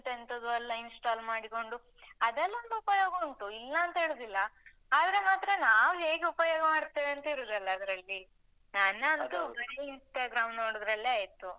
ಎಂತೆಂತದೋ ಎಲ್ಲ Install ಮಾಡಿಕೊಂಡು, ಅದೆಲ್ಲ ಒಂದು ಉಪಯೋಗ ಉಂಟು, ಇಲ್ಲಾಂತ ಹೇಳುದಿಲ್ಲ.ಆದ್ರೆ ಮಾತ್ರ ನಾವ್ ಹೇಗೆ ಉಪಯೋಗ ಮಾಡ್ತೇವಂತ ಇರುದಲ್ಲ ಅದ್ರಲ್ಲಿ? ನಾನಂತೂ Instagram ನೋಡುದ್ರಲ್ಲೇ ಆಯ್ತು.